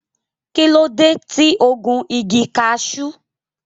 Kí ló dé tí o gun igi cashew?